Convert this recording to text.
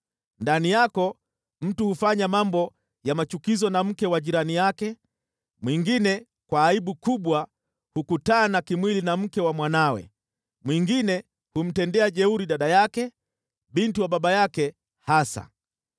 Ndani yako mtu hufanya mambo ya machukizo na mke wa jirani yake, mwingine kwa aibu kubwa hukutana kimwili na mke wa mwanawe, mwingine humtenda jeuri dada yake, binti wa baba yake hasa.